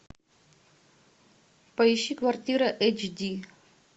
поищи квартира эйч ди